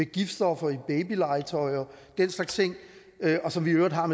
giftstoffer i babylegetøj og den slags ting og som vi i øvrigt har